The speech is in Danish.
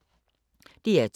DR2